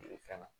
fɛn na